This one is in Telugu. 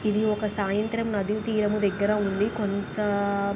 ఇది ఒక సాయంత్రం.నది తీరం దగ్గర ఉంది.కొంత--